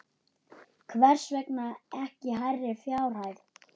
Hvers vegna ekki hærri fjárhæð?